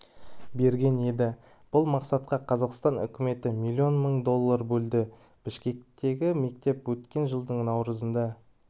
берген еді бұл мақсатқа қазақстан үкіметі миллион мың доллар бөлді бішкектегі мектеп өткен жылдың наурызында